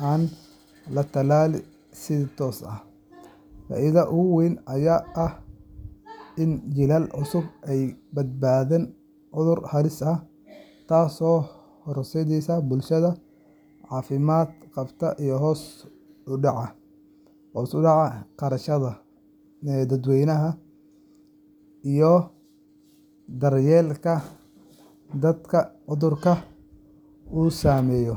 aan la tallaalin si toos ah. Faa’iidada ugu weyn ayaa ah in jiilal cusub ay ka badbaadaan cudur halis ah, taasoo horseedaysa bulsho caafimaad qabta iyo hoos u dhaca kharashyada daaweynta iyo daryeelka dadka cudurka uu saameeyo.